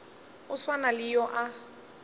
a swana le yo a